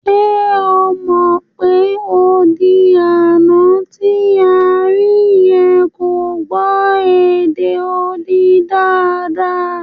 Ṣe o mọ̀ pé odi àná tí a rí yẹn kò gbọ́ èdè odi dáadáa?